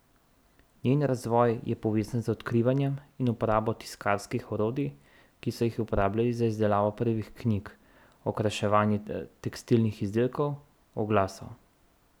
Njen razvoj je povezan z odkrivanjem in uporabo tiskarskih orodij, ki so jih uporabljali za izdelavo prvih knjig, okraševanje tekstilnih izdelkov, oglasov ...